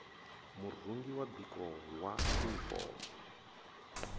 murungi wa biko wa yunifomo